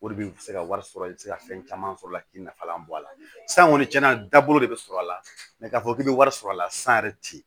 O de bɛ se ka wari sɔrɔ i bɛ se ka fɛn caman sɔrɔ a la k'i nafalan bɔ a la san kɔni tiɲɛna da bolo de bɛ sɔrɔ a la mɛ k'a fɔ k'i bɛ wari sɔrɔ a la san yɛrɛ ti yen